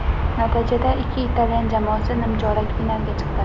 Natijada ikki italyan jamoasi nimchorak finalga chiqdi.